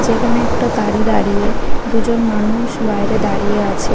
যেখানে একটা গাড়ি দাঁড়িয়ে দুজন মানুউষ বাইরে দাঁড়িয়ে আছে।